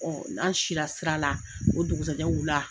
n'an sila sira la, o dugusɛjɛ wula